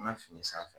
An ka fini sanfɛ